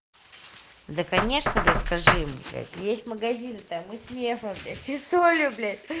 да конечно блять скажи ему блять есть магазин там и с мефом блять и солью блять